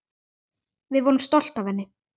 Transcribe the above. Við vorum stolt af henni.